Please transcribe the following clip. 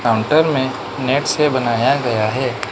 Counter में net से बनाया गया है।